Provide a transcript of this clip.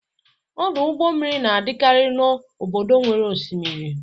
Ọdụ ụgbọ mmiri na-adịkarị n'obodo nwere osimiri.